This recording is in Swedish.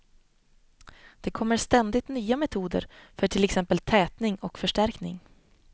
Det kommer ständigt nya metoder för till exempel tätning och förstärkning.